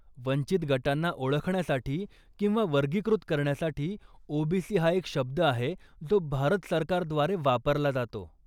वंचित गटांना ओळखण्यासाठी किंवा वर्गीकृत करण्यासाठी ओबीसी हा एक शब्द आहे जो भारत सरकारद्वारे वापरला जातो.